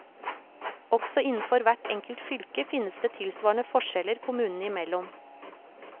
Også innenfor hvert enkelt fylke finnes det tilsvarende forskjeller kommunene imellom.